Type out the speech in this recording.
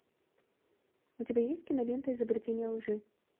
у тебя есть кинолента изобретение лжи